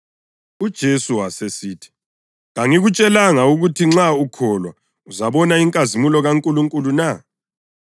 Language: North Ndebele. UJesu wasesithi, “Kangikutshelanga ukuthi nxa ukholwa uzabona inkazimulo kaNkulunkulu na?”